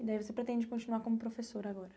E daí você pretende continuar como professor agora?